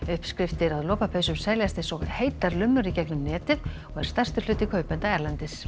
uppskriftir að lopapeysum seljast eins og heitar lummur í gegnum netið og er stærstur hluti kaupenda erlendis